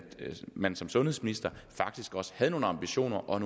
man som sundhedsminister faktisk også havde nogle ambitioner og